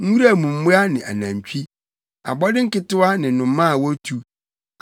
nwura mu mmoa ne anantwi, abɔde nketewa ne nnomaa a wotu,